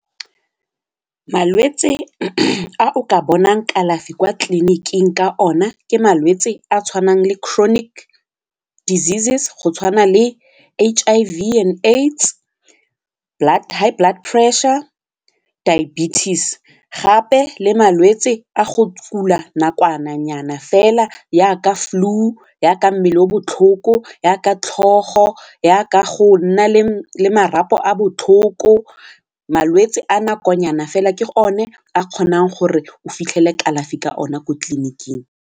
Malwetse a o ka bonang kalafi kwa tleliniking ka ona ke malwetse a tshwanang le chronic diseases, go tshwana le H_I_V and AIDS, high blood pressure, diabetes gape le malwetse a go tla kula nakwana nyana fela yaka flu, yaka mmele o botlhoko, yaka tlhogo, yaka go nna le marapo a botlhoko malwetse a nakonyana fela ke o ne a kgonang gore o fitlhele kalafi ka ona ko tleliniking.